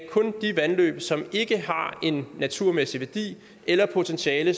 de vandløb som ikke har en naturmæssig værdi eller potentiale